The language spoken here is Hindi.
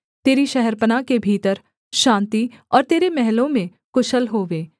तेरी शहरपनाह के भीतर शान्ति और तेरे महलों में कुशल होवे